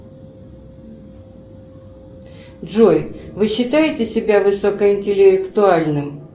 джой вы считаете себя высокоинтеллектуальным